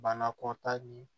Banakɔta nin